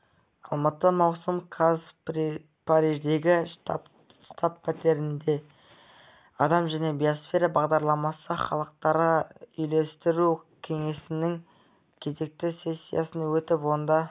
алматы маусым қаз париждегі штаб-пәтерінде адам және биосфера бағдарламасы халықаралық үйлестіру кеңесінің кезекті сессиясы өтіп онда